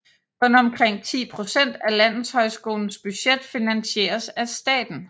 Kun omkring 10 procent af handelshøjskolens budget finansieres af staten